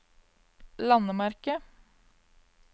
landemerke